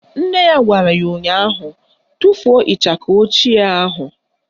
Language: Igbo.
Nne ya gwara ya ụnyaahụ " Tufuo ịchaka ochie ahụ"!